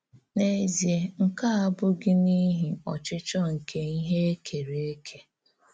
N’èzíè, nkè à abụ̀ghí n’íhì ‘ọ̀chịchọ̀ nke íhè e kèrè ékè.